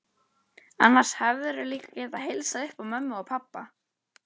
Annars hefðirðu líka getað heilsað upp á mömmu og pabba.